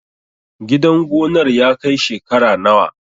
Gidan gonar ya kai shekara nawa?